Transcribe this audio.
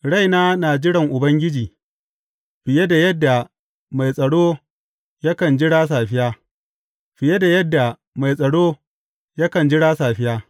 Raina na jiran Ubangiji fiye da yadda mai tsaro yakan jira safiya, fiye da yadda mai tsaro yakan jira safiya.